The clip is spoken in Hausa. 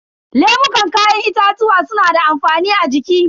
Lemukan kayan itatuwa suna da amfani a jiki.